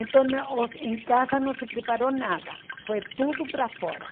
Então, em casa não se preparou nada, foi tudo para fora.